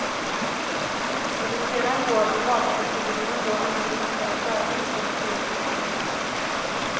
Hur det sedan går, om valproceduren då ännu inte är färdig, står skrivet i stjärnorna.